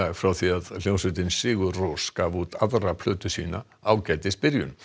frá því að hljómsveitin sigur Rós gaf út aðra plötu sína ágætis byrjun